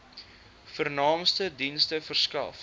vernaamste dienste verskaf